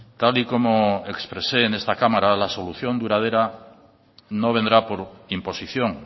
tal y como expresé en esta cámara la solución duradera no vendrá por imposición